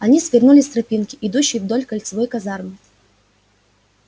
они свернули с тропинки идущей вдоль кольцевой казармы